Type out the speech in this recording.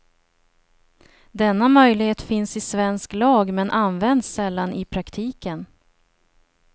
Denna möjlighet finns i svensk lag, men används sällan i praktiken.